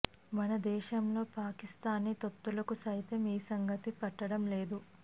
మన దేశంలోని పాకిస్తానీ తొత్తులకు సైతం ఈ సంగతి పట్టడం లేదు